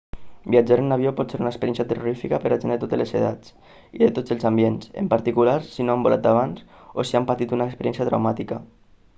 viatjar en avió pot ser una experiència terrorífica per a gent de totes les edats i de tots els ambients en particular si no han volat abans o si han patit una experiència traumàtica